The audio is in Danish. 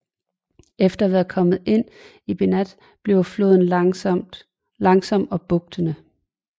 Efter at være kommet ind i Banat bliver floden langsom og bugtende